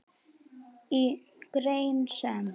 Í grein sem